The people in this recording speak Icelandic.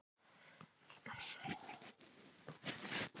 Nei, þetta kemur ekki úr salnum, það er eins og þessi hljóð komi að ofan.